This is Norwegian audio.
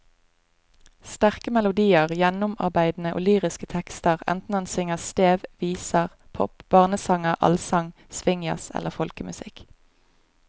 Sterke melodier, gjennomarbeidede og lyriske tekster enten han synger stev, viser, pop, barnesanger, allsang, swingjazz eller folkemusikk.